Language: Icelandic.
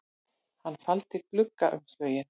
Hann faldi gluggaumslögin